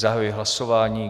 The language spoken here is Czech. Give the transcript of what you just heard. Zahajuji hlasování.